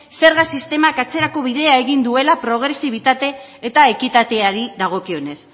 zerga sistemak atzerako bidea egin duela progresibitate eta ekitateari dagokionez